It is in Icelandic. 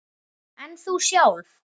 En þú sjálf?